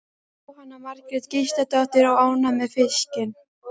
Jóhanna Margrét Gísladóttir: Og ánægð með fiskinn?